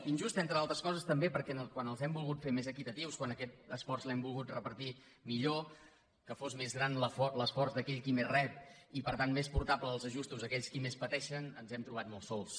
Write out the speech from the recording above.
injust entre altres coses també perquè quan els hem volgut fer més equitatius quan aquest esforç l’hem volgut repartir millor que fos més gran l’esforç d’aquell qui més rep i per tant més portable els ajustos a aquells qui més pateixen ens hem trobat molt sols